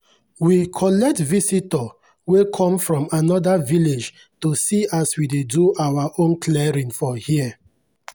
we collect visitor wey come from anoda village to see as we dey do our own clearing for here.